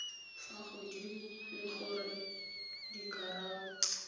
fa godimo le gore dikarabo